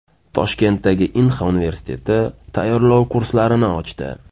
Toshkentdagi Inha universiteti tayyorlov kurslarini ochdi.